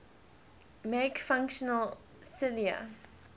make functional cilia